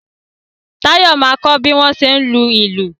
Táyọ̀ máa kọ bí wọ́n tí ń lùlù